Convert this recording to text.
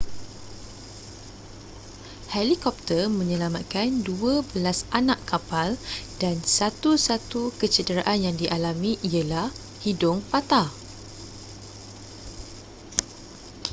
helikopter menyelamatkan dua belas anak kapal dan satu-satu kecederaan yang dialami ialah hidung patah